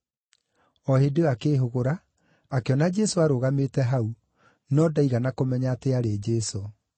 O hĩndĩ ĩyo akĩĩhũgũra, akĩona Jesũ arũgamĩte hau, no ndaigana kũmenya atĩ aarĩ Jesũ.